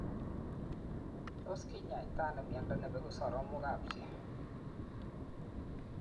Tos kinyaitaa anoo miondoo nepeguu soromok ap chi?